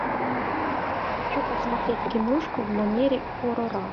хочу посмотреть киношку в манере хоррора